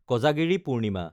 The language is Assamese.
কজাগিৰি পূৰ্ণিমা